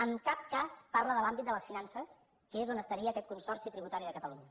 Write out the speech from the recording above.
en cap cas parla de l’àmbit de les finances que és on estaria aquest consorci tributari de catalunya